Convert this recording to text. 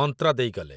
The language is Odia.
ମନ୍ତ୍ର ଦେଇଗଲେ ।